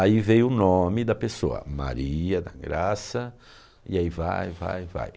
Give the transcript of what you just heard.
Aí veio o nome da pessoa, Maria da Graça, e aí vai, vai, vai.